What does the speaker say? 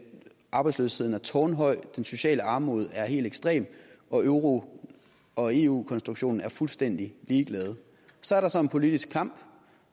arbejdsløsheden er tårnhøj den sociale armod er helt ekstrem og eu og eu konstruktionen er fuldstændig ligeglad så er der så en politisk kamp